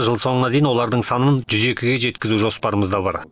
жыл соңына дейін олардың санын жүз екіге жеткізу жоспарымызда бар